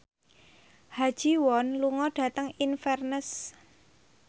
Ha Ji Won lunga dhateng Inverness